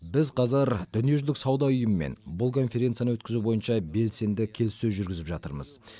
біз қазір дүниежүзілік сауда ұйымымен бұл конференцияны өткізу бойынша белсенді келіссөз жүргізіп жатырмыз